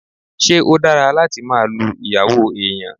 Ṣé ó dára láti máa lu ìyàwó èèyàn?